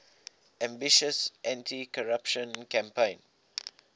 ambitious anticorruption campaign